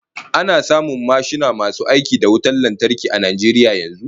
Ana samun mashina masu aiki da wutan lantarki a Najeriya yanzu?